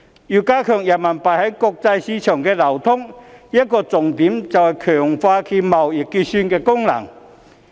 要加強人民幣在國際市場的流通，一個重點是強化其貿易結算功能。